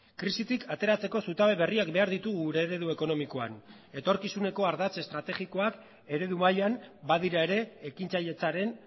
krisitik ateratzeko zutabe berriak behar ditugu gure eredu ekonomikoan etorkizuneko ardatz estrategikoak eredu mailan badira ere ekintzailetzaren